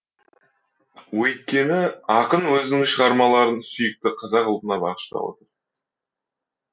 өйткені ақын өзінің шығармаларын сүйікті қазақ ұлтына бағыштап отыр